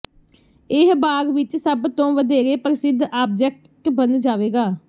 ਇਹ ਬਾਗ਼ ਵਿਚ ਸਭ ਤੋਂ ਵਧੇਰੇ ਪ੍ਰਸਿੱਧ ਆਬਜੈਕਟ ਬਣ ਜਾਵੇਗਾ